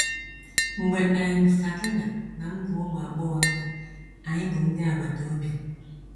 Mgbe um Sakina na m bụ ụmụ agbọghọ nta, anyị bụ ndị agbata obi.